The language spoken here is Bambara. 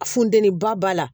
Funteni ba la